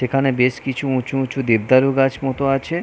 এখানে বেশ কিছু উঁচু উঁচু দেবদারু গাছ মত আছে।